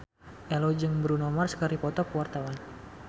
Ello jeung Bruno Mars keur dipoto ku wartawan